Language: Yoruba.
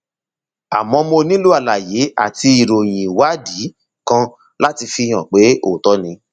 àmọ mo nílò àlàyé àti ìròyìn ìwádìí kan láti fi hàn pé òótọ ni